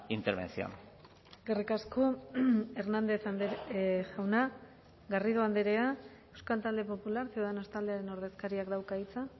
intervención eskerrik asko hernández jauna garrido andrea euskal talde popular ciudadanos taldearen ordezkariak dauka hitza